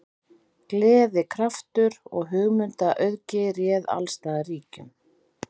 Gleði, kraftur og hugmyndaauðgi réð alls staðar ríkjum.